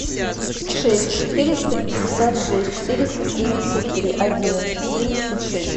шесть четыреста пятьдесят шесть четыреста семьдесят три одиннадцать семьдесят шесть